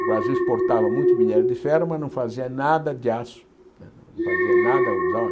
O Brasil exportava muito minério de ferro, mas não fazia nada de aço. Não fazia nada usava